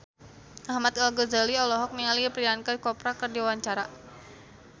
Ahmad Al-Ghazali olohok ningali Priyanka Chopra keur diwawancara